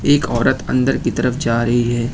एक औरत अंदर की तरफ जा रही है।